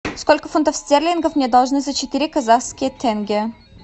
сколько фунтов стерлингов мне должны за четыре казахские тенге